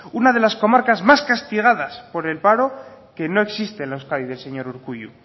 una de las comarcas más castigadas por el paro que no existe en la euskadi del señor urkullu